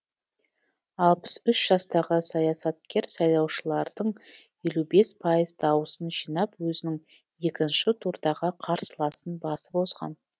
алпыс үш жастағы саясаткер сайлаушылардың елу бес пайыз дауысын жинап өзінің екінші турдағы қарсыласын басып озған